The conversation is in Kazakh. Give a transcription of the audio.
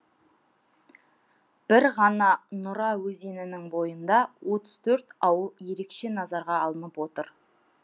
бір ғана нұра өзенінің бойында отыз төрт ауыл ерекше назарға алынып отыр